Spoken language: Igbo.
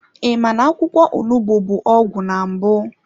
I ma na-akwụkwọ onugbu bụ ọgwụ na mbụ?